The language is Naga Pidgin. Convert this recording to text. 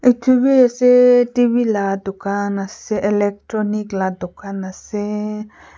TV ase TV la dukhan ase electronic la dukan ase--